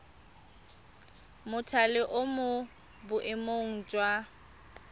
mothale o mo boemong jwa